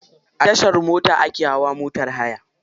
A tashar mota akw hawa motar haya.